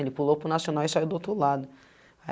Ele pulou para o nacional e saiu do outro lado.